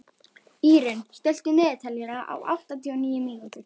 Írunn, stilltu niðurteljara á áttatíu og níu mínútur.